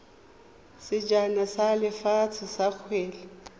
sejana sa lefatshe sa kgwele